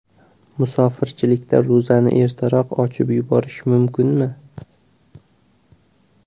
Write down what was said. Musofirchilikda ro‘zani ertaroq ochib yuborish mumkinmi?.